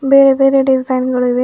ಬೇರೆ ಬೇರೆ ಡಿಸೈನ್ ಗಳು ಇವೆ.